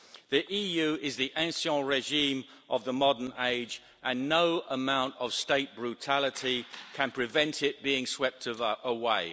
The EU is the ancien régime of the modern age, and no amount of state brutality can prevent it being swept away.